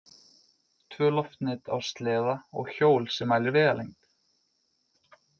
Tvö loftnet á sleða og hjól sem mælir vegalengd.